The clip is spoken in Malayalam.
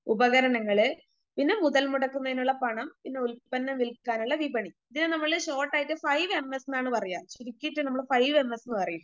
ഉപകരണങ്ങള്, പിന്നെ മുതൽ മുടക്കുന്നതിനുള്ള പണം പിന്നെ ഉൽപ്പന്നം വിൽക്കാനുള്ള വിപണി ഇതിനെ നമ്മള് ഷോട്ടായിട്ട് ഫൈവ് എന്നാണ് പറയുക ചുരുക്കിയിട്ട് നമ്മള് ഫൈവ് എം എസ് ന്ന് പറയും.